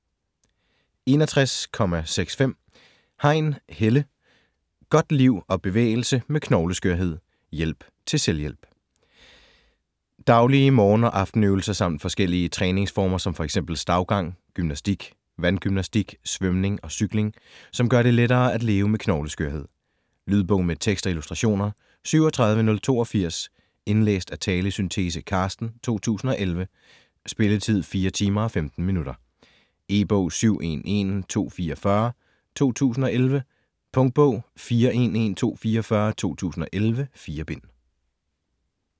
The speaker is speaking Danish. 61.65 Hein, Helle: Godt liv og bevægelse med knogleskørhed: hjælp til selvhjælp Daglige morgen- og aftenøvelser samt forskellige træningsformer som fx stavgang, gymnastik, vandgymnastik, svømning og cykling, som gør det lettere at leve med knogleskørhed. Lydbog med tekst og illustrationer 37082 Indlæst af Talesyntese: Carsten, 2011. Spilletid: 4 timer, 15 minutter. E-bog 711244 2011. Punktbog 411244 2011. 4 bind.